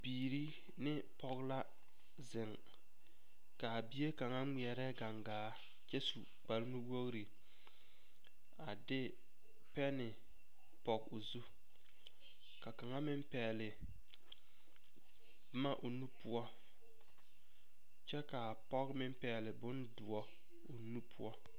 Bibiiri ne pɔge la zeŋ ka a bie kaŋa ŋmeɛrɛ kaŋgaa kyɛ su kpare nu wogri a de pɛnne pɔge o zu ka kaŋa meŋ pɛgle boma o nu poɔ kyɛ ka a pɔge meŋ pɛgle bondoɔ o nu poɔ.